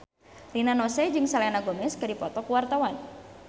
Rina Nose jeung Selena Gomez keur dipoto ku wartawan